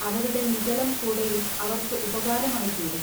അവരുടെ നിഗളം കൂടെയും അവൎക്കു ഉപകാരമായിത്തീരും.